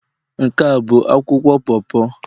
Nke a bụ akwụkwọ po po?